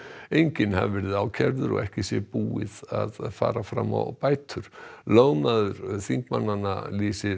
enginn hafi verið ákærður og ekki sé búið að fara fram á bætur lögmaður þingmannanna lýsir